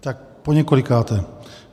Tak poněkolikáté.